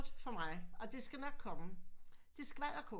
For mig og det skal nok komme det er skvalderkål